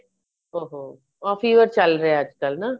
ਉਹ ਹੋ off year ਚੱਲ ਰਿਹਾ ਅੱਜਕਲ ਨਾ